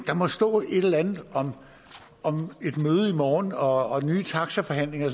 der må stå et eller andet om et møde i morgen og nye taxaforhandlinger og